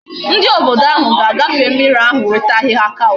Ndi obodo ahu ga agafe mmiri ahu iweta ahihia couch